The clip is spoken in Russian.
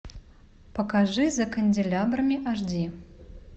покажи за канделябрами аш ди